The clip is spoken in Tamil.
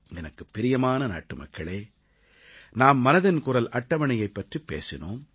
எனக்குப் பிரியமான நாட்டுமக்களே நாம் மனதின் குரல் அட்டவணை பற்றிப் பேசினோம்